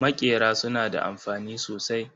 Maƙera suna da amfani sosai.